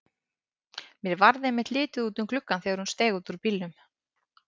Mér varð einmitt litið út um gluggann þegar hún steig út úr bílnum.